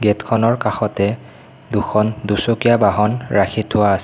Gate খনৰ কাষতে দুখন দুচকীয়া বাহন ৰাখি থোৱা আছে।